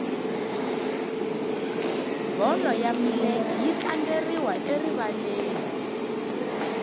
bolo ya milenge yi tlangeriwa erivaleni